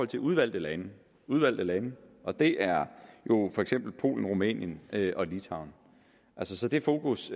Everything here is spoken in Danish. til udvalgte lande udvalgte lande og det er jo for eksempel polen rumænien og litauen så det fokus